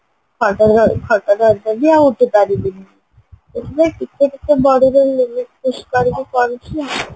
ଖଟ ଧ ଖଟ ଧାରିଦେବି ଆଉ ଉଠିପାରିବିନି ସେଥିପାଇଁ ଟିକେ ଟିକେ bodyର limit କରିକି କରୁଚି ଆଉ